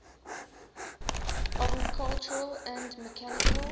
agricultural and mechanical